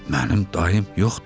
Mənim dayım yoxdur.